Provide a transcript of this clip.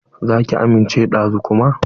Za ki amince da zu kuma?